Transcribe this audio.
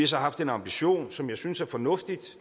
så haft den ambition som jeg synes er fornuftig